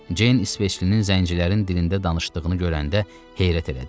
Ceyn İsveçlinin zəncilərin dilində danışdığını görəndə heyrət elədi.